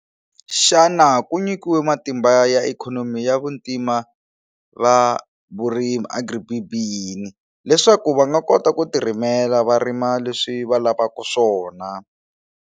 Xana ku nyikiwe matimba ya ikhonomi ya vuntima va vurimi Agri-BEE leswaku va nga kota ku ti rimela va rima leswi va lavaku swona.